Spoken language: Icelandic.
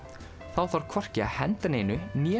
þá þarf hvorki að henda neinu né